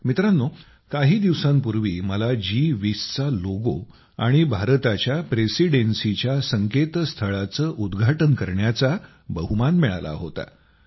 मित्रांनो काही दिवसांपूर्वी मला जी20 चा लोगो आणि भारताच्या प्रेसिडेन्सीच्या संकेतस्थळाचे उद्घाटन करण्याचा बहुमान मिळाला होता